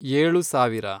ಏಳು ಸಾವಿರ